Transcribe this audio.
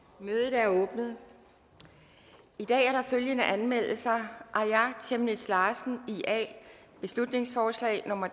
mødet er åbnet i dag er der følgende anmeldelser aaja chemnitz larsen beslutningsforslag nummer